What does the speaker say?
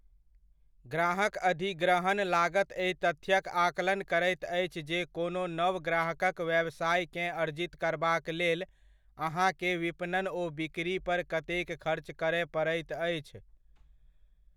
ग्राहक अधिग्रहण लागत एहि तथ्यक आकलन करैत अछि जे कोनो नव ग्राहकक व्यवसायकेँ अर्जित करबाक लेल अहाँकेँ विपणन ओ बिकरी पर कतेक खर्च करय पड़ैत अछि।